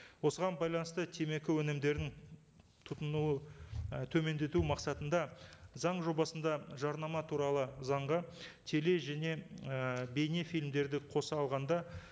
осыған байланысты темекі өнімдерін тұтыну і төмендету мақсатында заң жобасында жарнама туралы заңға теле және і бейнефильмдерді қоса алғанда